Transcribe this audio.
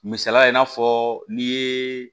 Misaliya i n'a fɔ n'i ye